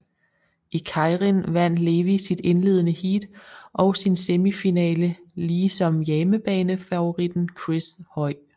I keirin vandt Levy sit indledende heat og sin semifinale lige som hjemmebanefavoritten Chris Hoy